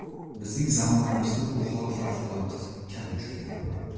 Bizning zamonamizda bu hol favqulodda kam uchraydi.